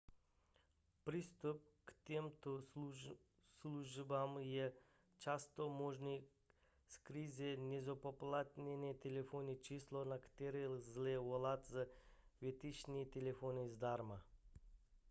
přístup k těmto službám je často možný skrze nezpoplatněné telefonní číslo na které lze volat z většiny telefonů zdarma